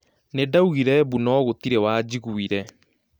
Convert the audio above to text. Nindaugire mbu no gũturĩ wanjiguire